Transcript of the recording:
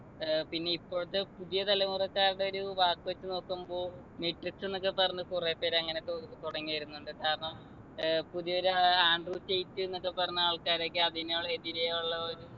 ഏർ പിന്നെ ഇപ്പോഴത്തെ പുതിയ തലമുറക്കാരുടെ ഒരു വാക്ക് വെച്ച് നോക്കുമ്പോ netflix ന്നൊക്കെ പറഞ്ഞ് കുറേപ്പേര് അങ്ങനെ തുട് തുടങ്ങി വരുന്നുണ്ട് കാരണം ഏർ പുതിയൊരു ഏർ ആൻഡ്രു റ്റെയ്റ്റ് ന്നൊക്കെ പറഞ്ഞ ആൾക്കാരൊക്കെ അതിനുൾ എതിരെ ഉള്ള ഒരു